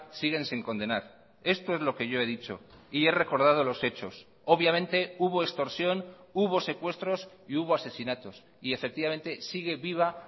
siguen sin condenar esto es lo que yo he dicho y he recordado los hechos obviamente hubo extorsión hubo secuestros y hubo asesinatos y efectivamente sigue viva